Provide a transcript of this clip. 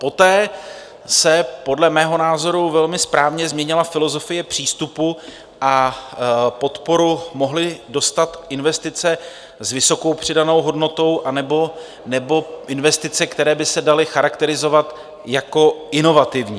Poté se podle mého názoru velmi správně změnila filozofie přístupu a podporu mohly dostat investice s vysokou přidanou hodnotou anebo investice, které by se daly charakterizovat jako inovativní.